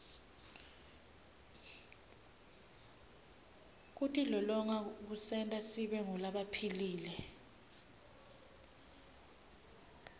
kutilolonga kusenta sibe ngulabaphilile